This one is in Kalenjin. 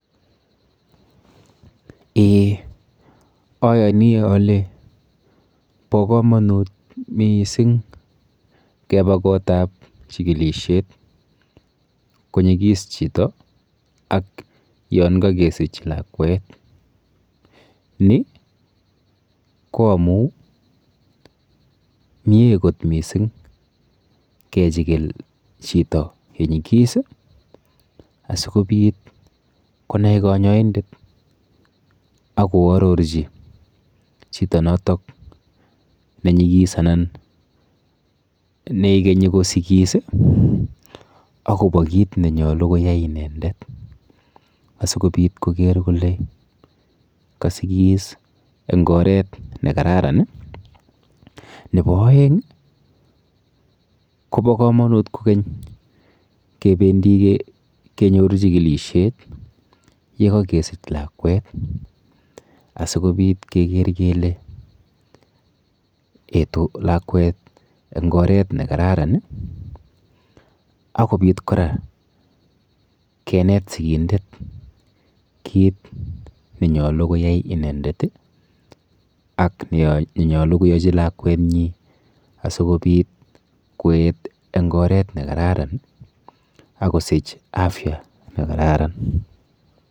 Eeh ayoni ale po komonut miising kepa kotap chikilishet konyikis chito ak yonkakesich lakwet. Ni ko amu mie kot mising kechikil chito konyikis asikobit konai kanyoindet akoarorchi chito notok nenyikis anan neikenyi kosikis akopo kit nenyolu koyai inendet asikoker kole kasikis eng oret nekararan. Nepo oeng kopo komonut kokeny kependi kenyoru chikilishet yekakesich lakwet asikobit keker kele etu lakwet eng oret nekararan akopit kora kenet sikindet kit nenyolu koyai inendet ak nenyolu koyochi lakwenyi asikobit koet eng oret nekararan akosich afya nekararan.